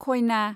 खयना